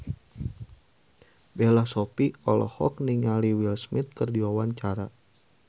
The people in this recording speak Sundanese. Bella Shofie olohok ningali Will Smith keur diwawancara